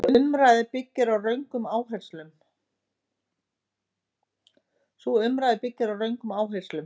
Sú umræða byggir á röngum áherslum.